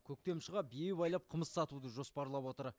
көктем шыға бие байлап қымыз сатуды жоспарлап отыр